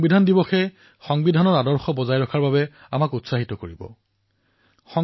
ভাৰতৰ সংবিধানে প্ৰত্যেক নাগৰিকৰ অধিকাৰ আৰু সন্মান ৰক্ষা কৰে আৰু এয়া আমাৰ সংবিধান প্ৰণেতাসকল দূৰদৰ্শিতা ফলত নিশ্চিত হৈছে